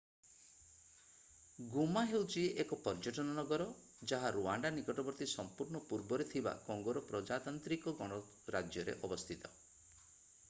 ଗୋମା ହେଉଛି ଏକ ପର୍ଯ୍ୟଟନ ନଗର ଯାହା ରୁୱାଣ୍ଡା ନିକଟବର୍ତ୍ତୀ ସମ୍ପୂର୍ଣ୍ଣ ପୂର୍ବରେ ଥିବା କଙ୍ଗୋର ପ୍ରଜାତାନ୍ତ୍ରିକ ଗଣରାଜ୍ୟରେ ଅବସ୍ଥିତ